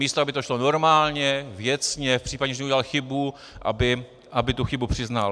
Místo aby to šlo normálně, věcně, v případě, že udělal chybu, aby tu chybu přiznal.